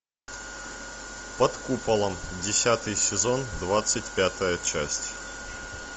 под куполом десятый сезон двадцать пятая часть